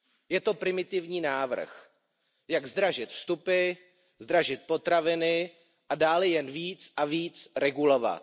Je to primitivní návrh, jak zdražit vstupy, zdražit potraviny a dále jen více a více regulovat.